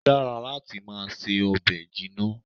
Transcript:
Ó dára láti máa se ọbẹ̀ jinna